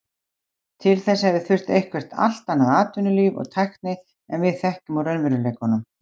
Til þess hefði þurft eitthvert allt annað atvinnulíf og tækni en við þekkjum úr raunveruleikanum.